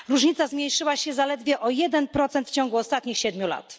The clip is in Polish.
Różnica zmniejszyła się zaledwie o jeden procent w ciągu ostatnich siedmiu lat.